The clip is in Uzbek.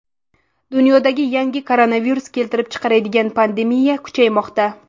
Dunyoda yangi koronavirus keltirib chiqargan pandemiya kuchaymoqda.